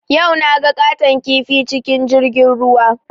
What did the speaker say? Yau naga ƙaton kifi cikin jirgin ruwa